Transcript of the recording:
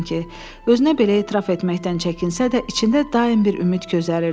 Özünə belə etiraf etməkdən çəkinsə də, içində daim bir ümid gözəriridi.